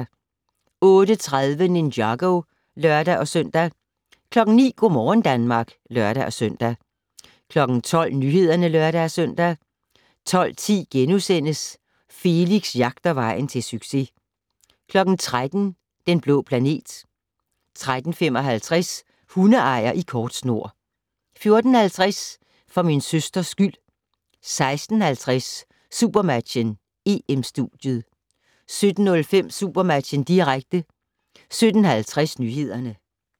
08:30: Ninjago (lør-søn) 09:00: Go' morgen Danmark (lør-søn) 12:00: Nyhederne (lør-søn) 12:10: Felix jagter vejen til succes * 13:00: Den blå planet 13:55: Hundeejer i kort snor 14:50: For min søsters skyld 16:50: SuperMatchen: EM-studiet 17:05: SuperMatchen, direkte 17:50: Nyhederne